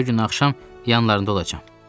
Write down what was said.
Çərşənbə günü axşam yanlarında olacam.